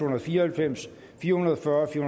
og fire og halvfems fire hundrede og fyrre fire